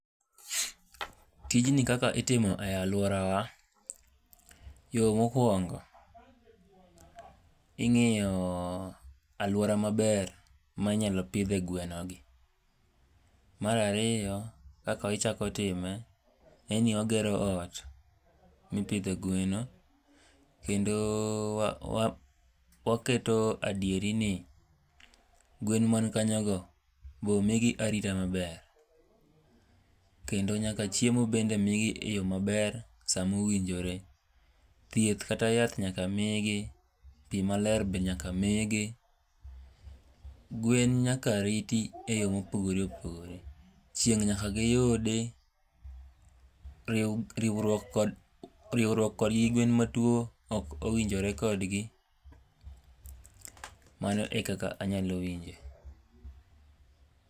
tijni kaka itimo e alwora wa, mokowongo ingiyo aluora ma ber minyalo pidhe gweno gi. Mar ariyo kaka ichako time, en ni wa gero ot, mipidhe gweno kendo waket adieri i gwen man kanyo go be omigi arita maber. Kendo nyaka chiemo be mi gi e yo maber saa mowinjore. thieth kata yath nyaka migi, pi nyaka migi. gwen nyaka riti eyo mopogore opogore. chieng nyaka giyudi, riwruok kod gwen ma tuo ok owijnore kodgi, mano ekaka anyalo winje.